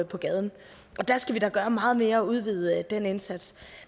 på gaden der skal vi da gøre meget mere og udvide den indsats